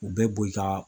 U bɛ bo i ka